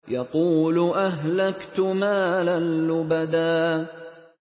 يَقُولُ أَهْلَكْتُ مَالًا لُّبَدًا